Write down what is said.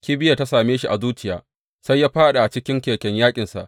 Kibiyar ta same shi a zuciyarsa sai ya fāɗi a cikin keken yaƙinsa.